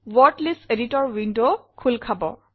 word list editor window খোল খাব